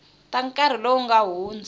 ta nkarhi lowu nga hundza